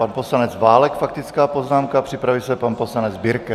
Pan poslanec Válek faktická poznámka, připraví se pan poslanec Birke.